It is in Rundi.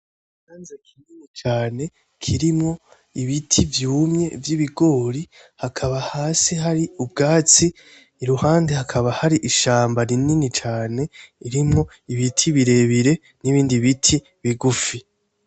Ni ikibanza kinini cane kirimwo ibiti vyumye vy'ibigori, hakaba hasi hari ubwatsi, Iruhande hakaba hari ishamba rinini cane ririmwo ibiti birebire n'ibindi bigufi.